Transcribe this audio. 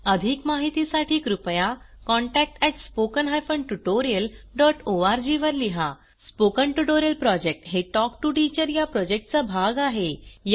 अधिक माहितीसाठी कृपया contact at spoken hyphen tutorial dot org वर लिहा स्पोकन ट्युटोरियल प्रॉजेक्ट हे टॉक टू टीचर या प्रॉजेक्टचा भाग आहे